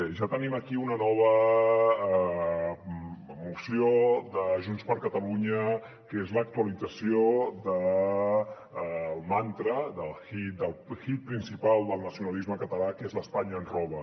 ja tenim aquí una nova moció de junts per catalunya que és l’actualització del mantra del hit principal del nacionalisme català que és l’ espanya ens roba